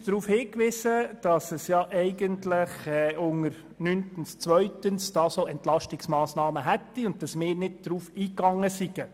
Frau Simon wies uns darauf hin, dass unter dem Punkt 9.2 Entlastungsmassnahmen aufgeführt seien, auf die wir nicht eingegangen wären.